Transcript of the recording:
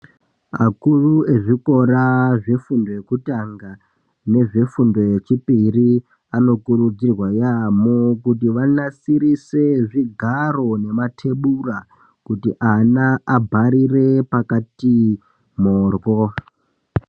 Akuru ezvekora zvefundo yekutanga nezve fundo yechipiri anokurudzirwa yamo kutianasire zvigaro nematebura kuti ana kuti ana abharire pakati morwo.